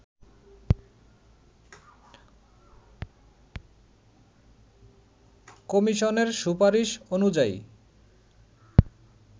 কমিশনের সুপারিশ অনুযায়ী